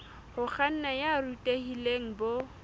ho kganna ya borutehi bo